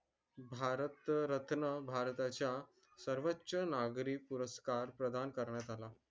भारत रत्न भारताच्या सर्वोच्च नागरी पुरस्कार प्रदान करण्यात आला.